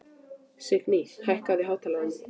Signý, hækkaðu í hátalaranum.